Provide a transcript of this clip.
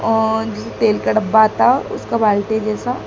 और तेल का डब्बा आता उसको बाल्टी जैसा--